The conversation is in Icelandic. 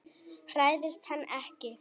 Hræðist hann ekki.